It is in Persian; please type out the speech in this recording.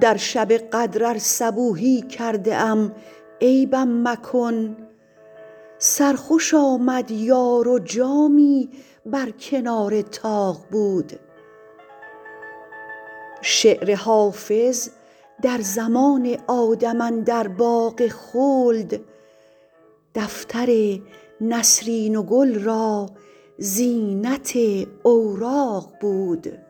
در شب قدر ار صبوحی کرده ام عیبم مکن سرخوش آمد یار و جامی بر کنار طاق بود شعر حافظ در زمان آدم اندر باغ خلد دفتر نسرین و گل را زینت اوراق بود